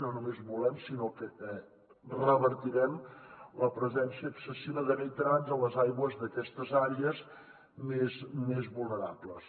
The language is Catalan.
no només volem sinó que revertirem la presència excessiva de nitrats a les aigües d’aquestes àrees més vulnerables